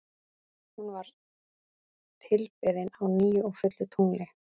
Hún var tilbeðin á nýju og fullu tungli.